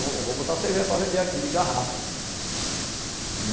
Eu, eu vou botar cerveja para vender aqui de garrafa.